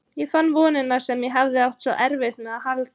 Ég fann vonina sem ég hafði átt svo erfitt með að halda í.